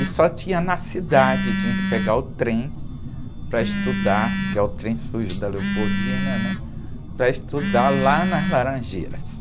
E só tinha na cidade, tinha que pegar o trem para estudar, que é o trem da, né? Para estudar lá nas Laranjeiras.